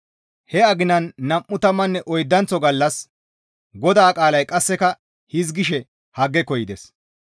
He aginan nam7u tammanne oydanththo gallas GODAA qaalay qasseka hizgishe Haggeko yides.